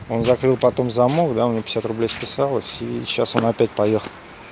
он закрыл потом замок да у меня пятьдесят рублей списалось и сейчас он опять поехал